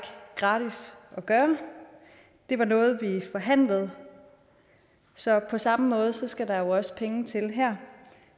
gratis at gøre det var noget vi forhandlede så på samme måde skal der også penge til her